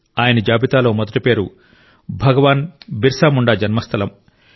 ఆయన జాబితాలో మొదటి పేరు భగవాన్ బిర్సా ముండా జన్మస్థలం